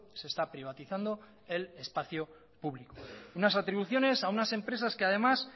se está privatizando el espacio público unas atribuciones a unas empresas que además